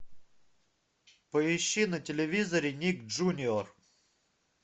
поищи на телевизоре ник джуниор